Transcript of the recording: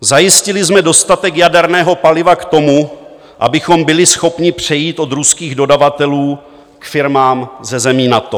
Zajistili jsme dostatek jaderného paliva k tomu, abychom byli schopni přejít od ruských dodavatelů k firmám ze zemí NATO.